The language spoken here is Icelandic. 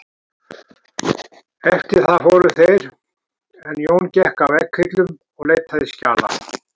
Eftir það fóru þeir en Jón gekk að vegghillum og leitaði skjala.